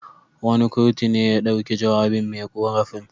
Wani kurtu ne ya dauki jawabin me ƙorafin.